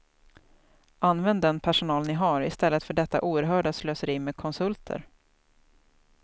Använd den personal ni har i stället för detta oerhörda slöseri med konsulter.